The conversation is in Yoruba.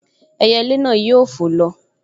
Ẹyẹlé náà yóò fò lọ